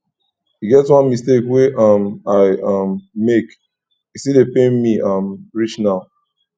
e get one mistake wey um i um make e still dey pain me um reach now